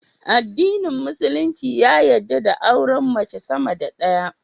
Adinin musulunci ya yadda da auren mace sama da daya